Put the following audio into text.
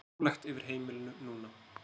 Rólegt yfir heimilinu núna.